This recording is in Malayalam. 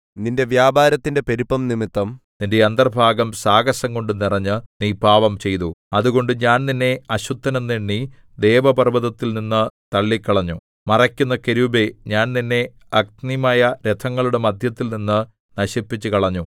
നിന്റെ വ്യാപാരത്തിന്റെ പെരുപ്പംനിമിത്തം നിന്റെ അന്തർഭാഗം സാഹസംകൊണ്ടു നിറഞ്ഞ് നീ പാപംചെയ്തു അതുകൊണ്ട് ഞാൻ നിന്നെ അശുദ്ധൻ എന്ന് എണ്ണി ദേവപർവ്വതത്തിൽ നിന്ന് തള്ളിക്കളഞ്ഞു മറയ്ക്കുന്ന കെരൂബേ ഞാൻ നിന്നെ അഗ്നിമയരഥങ്ങളുടെ മദ്ധ്യത്തിൽനിന്ന് നശിപ്പിച്ചുകളഞ്ഞു